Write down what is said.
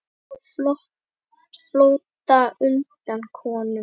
Á flótta undan konum